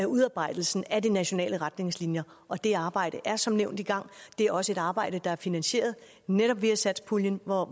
udarbejdelsen af de nationale retningslinjer og det arbejde er som nævnt i gang det er også et arbejde der er finansieret netop via satspuljen hvor